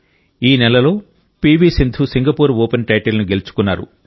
ఈ నెలలో P V Sindhu Singapore Open టైటిల్ను గెలుచుకున్నారు